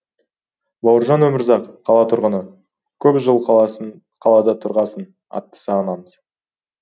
бауыржан өмірзақ қала тұрғыны көп жыл қалада тұрғасын атты сағынамыз